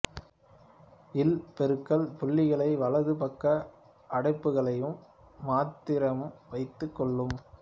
இல் பெருக்கல் புள்ளிகளையும் வலது பக்க அடைப்புகளையும் மாத்திரம் வைத்துக்கொள்வோம்